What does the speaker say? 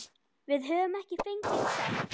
Við höfum ekki fengið sekt.